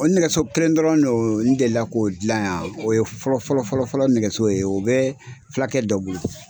O nɛgɛso kelen dɔrɔn don n delila k'o dilan yan o ye fɔlɔ fɔlɔfɔlɔ nɛgɛso ye o bɛ fulakɛ dɔ bolo.